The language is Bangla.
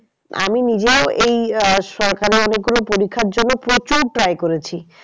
আমি নিজেও এই আহ সরকারের অনেক গুলো পরিক্ষার জন্য প্রচুর try করেছি।